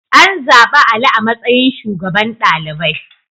An zaɓi Ali a matsayin shugaban ɗalibai.